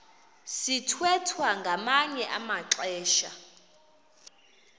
sithwethwa ngamanye amaxesha